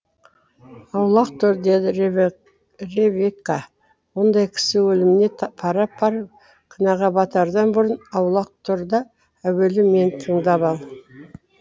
аулақ тұр деді ревекка ондай кісі өліміне пара пар күнәға батардан бұрын аулақ тұр да әуелі мені тыңдап ал